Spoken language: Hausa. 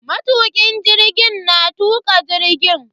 Matukin jirgin na tuka jirgin.